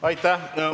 Aitäh!